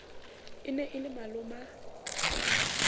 e ne e le maloma